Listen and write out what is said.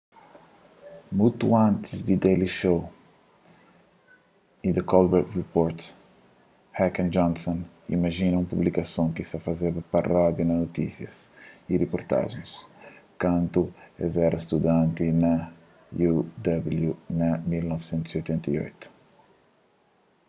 mutu antis di the daily show y the colbert report heck y johnson imajina un publikason ki ta fazeba parodia na notísias y riportajens kantu es éra studanti na uw na 1988